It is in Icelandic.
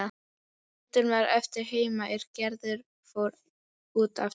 Myndin varð eftir heima er Gerður fór út aftur.